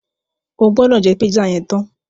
O gbọ́dọ̀ jẹ́ pízà yẹn tán!